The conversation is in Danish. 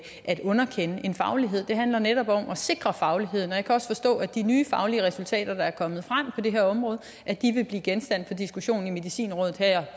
underkende en faglighed det handler netop om at sikre fagligheden jeg kan også forstå at de nye faglige resultater der er kommet frem på det her område vil blive genstand for diskussionen i medicinrådet her